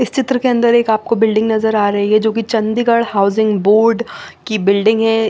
इस चित्र के अंदर एक आपको बिल्डिंग नजर आ रही है जो कि चंडीगढ़ हाउसिंग बोर्ड की बिल्डिंग है।